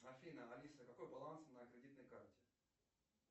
афина алиса какой баланс на кредитной карте